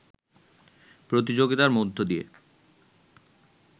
প্রতিযোগিতার মধ্য দিয়ে